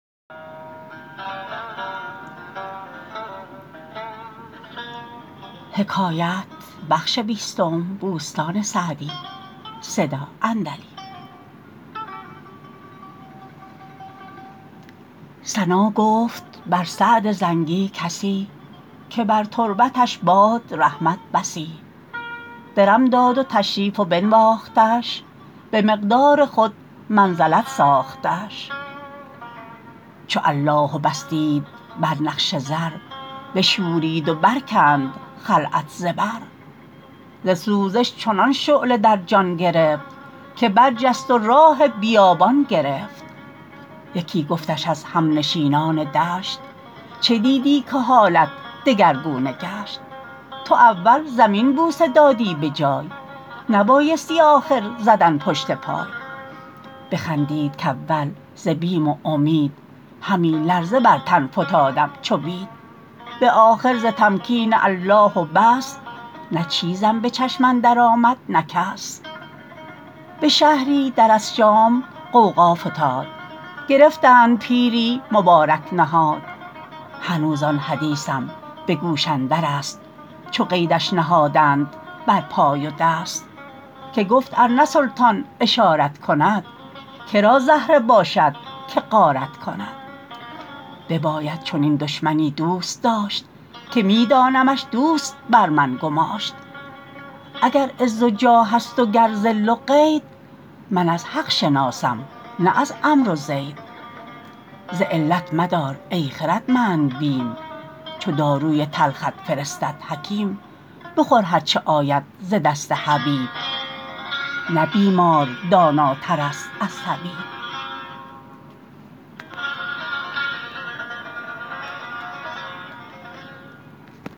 ثنا گفت بر سعد زنگی کسی که بر تربتش باد رحمت بسی درم داد و تشریف و بنواختش به مقدار خود منزلت ساختش چو الله و بس دید بر نقش زر بشورید و برکند خلعت ز بر ز سوزش چنان شعله در جان گرفت که برجست و راه بیابان گرفت یکی گفتش از همنشینان دشت چه دیدی که حالت دگرگونه گشت تو اول زمین بوسه دادی به جای نبایستی آخر زدن پشت پای بخندید کاول ز بیم و امید همی لرزه بر تن فتادم چو بید به آخر ز تمکین الله و بس نه چیزم به چشم اندر آمد نه کس به شهری در از شام غوغا فتاد گرفتند پیری مبارک نهاد هنوز آن حدیثم به گوش اندر است چو قیدش نهادند بر پای و دست که گفت ار نه سلطان اشارت کند که را زهره باشد که غارت کند بباید چنین دشمنی دوست داشت که می دانمش دوست بر من گماشت اگر عز و جاه است و گر ذل و قید من از حق شناسم نه از عمرو و زید ز علت مدار ای خردمند بیم چو داروی تلخت فرستد حکیم بخور هرچه آید ز دست حبیب نه بیمار داناتر است از طبیب